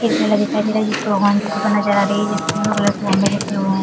एक ठेला दिखाई दे रहा है जिस पर भगवान की फोटो नज़र आ रही है जिसमे ब्लू कलर के लिखे हुए है।